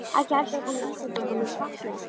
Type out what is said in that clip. ekki heldur að koma Íslendingum í svartliðaskóla.